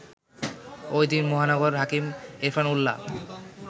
ওইদিন মহানগর হাকিম এরফান উল্লা